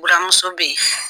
Buramuso bɛ yen.